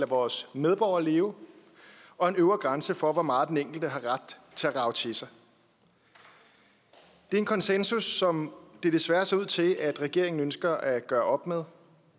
vores medborgere at leve og en øvre grænse for hvor meget den enkelte har ret til at rage til sig det er en konsensus som det desværre ser ud til at regeringen ønsker at gøre op med